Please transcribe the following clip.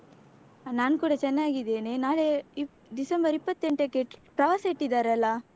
ನಾನ್ ಕೂಡ ಚೆನ್ನಾಗಿದ್ದೇನೆ, ನಾಳೆ ಇಪ್ಪ್ ಡಿಸೆಂಬರ್ ಇಪ್ಪತ್ತೆಂಟಕ್ಕೆ ಪ್ರವಾಸ ಇಟ್ಟಿದ್ದಾರಲ್ಲ.